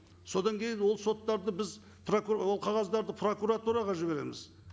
содан кейін ол соттарды біз ол қағаздарды прокуратураға жібереміз